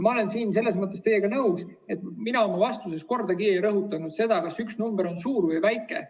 Ma olen selles mõttes teiega nõus, et mina oma vastuses kordagi ei rõhutanud seda, kas üks number on suur või väike.